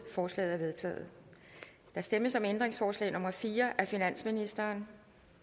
forslaget er vedtaget der stemmes om ændringsforslag nummer fire af finansministeren